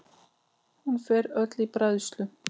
Hún fer öll í bræðslu.